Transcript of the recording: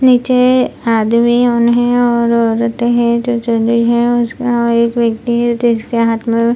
नीचे आदमी औन हें और औरतें हैं जो और उसका एक व्यक्ति है जिसके हाथ में --